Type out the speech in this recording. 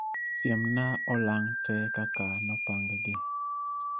siemna olang' te kaka nopang gi